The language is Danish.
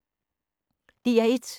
DR1